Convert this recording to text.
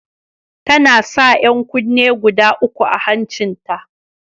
Tana sa 'yan kunne guda uku a hancin ta.